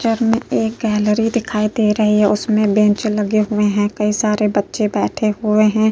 में एक गैलरी दिखाई दे रही है है उसमे बेंच लगे हुए है कई सारे बच्चे बैठे हुए है।